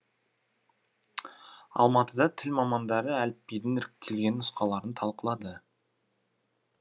алматыда тіл мамандары әліпбидің іріктелген нұсқаларын талқылады